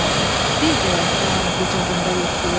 Bir də yatam qucağında yuxlayam.